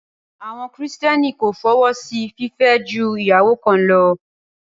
Àwọn kìrìtẹ́nì kò fọwọ́ sí fìfẹ́ ju ìyàwó kan lọ